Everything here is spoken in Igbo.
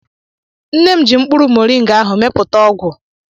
Nne m ji mkpụrụ moringa ahụ mepụta ọgwụ